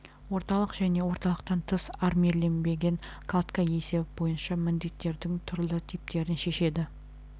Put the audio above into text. орталық және орталықтан тыс армирленбеген кладка есебі бойынша міндеттердің түрлі типтерін шешеді